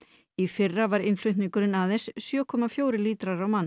í fyrra var innflutningurinn aðeins sjö komma fjögur lítrar á mann